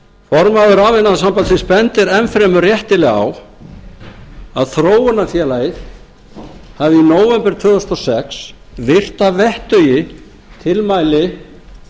formaður rafiðnaðarsambandsins bendir enn fremur réttilega á að þróunarfélagið hafi í nóvember tvö þúsund og sex virt að vettugi tilmæli